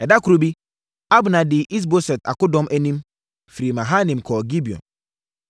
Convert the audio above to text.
Ɛda koro bi, Abner dii Is-Boset akodɔm anim, firi Mahanaim kɔɔ Gibeon.